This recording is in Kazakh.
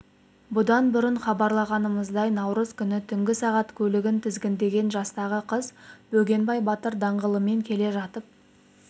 бұдан бұрын хабарлағанымыздай наурыз күні түнгі сағат көлігін тізгіндеген жастағы қыз бөгенбай батыр даңғылымен келе жатып